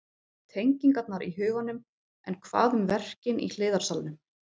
Tengingarnar í huganum En hvað um verkin í hliðarsalnum?